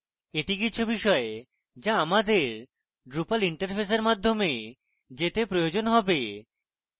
এটি কিছু বিষয় যা আমাদের drupal interface মাধ্যমে যেতে প্রয়োজন হবে